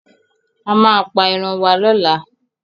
A máa pa eran wá lọ́la.